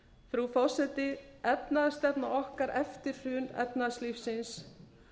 frú forseti efnahagsstefna okkar eftir hrun efnahagslífsins